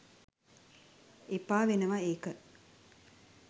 එපා වෙනවා ඒක